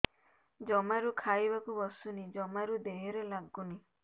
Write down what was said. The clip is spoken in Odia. ଜମାରୁ ଖାଇବାକୁ ବସୁନି ଜମାରୁ ଦେହରେ ଲାଗୁନି